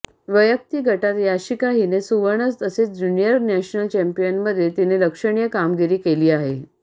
वैयक्तिक गटात याशिका हिने सुवर्ण तसेच ज्युनिअर नॅशनल चॉम्पियनमध्ये तिने लक्षणीय कामगिरी केली आहे